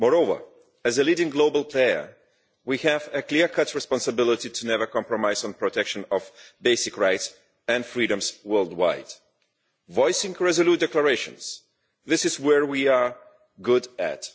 Moreover, as a leading global player, we have a clear cut responsibility to never compromise on the protection of basic rights and freedoms worldwide. Voicing resolute declarations, this is what we are good at.